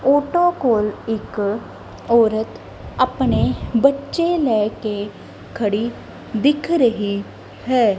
Auto ਕੋਲ ਇੱਕ ਔਰਤ ਆਪਣੇ ਬੱਚੇ ਲੈ ਕੇ ਖੜੀ ਦਿਖ ਰਹੀ ਹੈ।